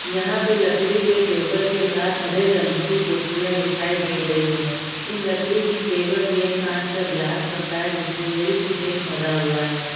यहाँ पे लकड़ी के टेबल के साथ हरे रंग की कुर्सियाँ दिखाई दे रही हैं इन लकड़ी की टेबल में एक कांच का ग्लास रखा है जिसमें मिल्क शेक भरा हुआ है।